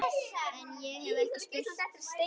En- ég hef ekki spurt.